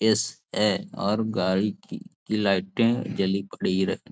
एस.ए. और गाड़ी की लाइटें जली पड़ी रखी --